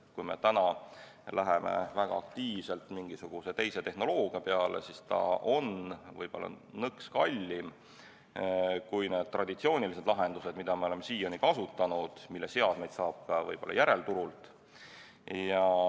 Kui me täna läheme väga aktiivselt üle mingisugusele teisele tehnoloogiale, siis see on nõks kallim kui traditsioonilised lahendused, mida me oleme siiani kasutanud ja mille seadmeid saab võib-olla järelturult.